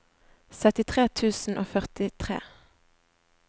syttitre tusen og førtitre